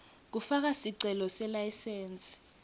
kufaka sicelo selayisensi